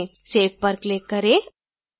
save पर click करें